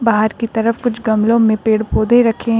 बाहर की तरफ कुछ गमलों में पेड़ पौधे रखें हैं।